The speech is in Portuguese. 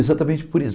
Exatamente por isso.